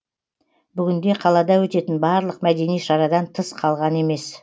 бүгінде қалада өтетін барлық мәдени шарадан тыс қалған емес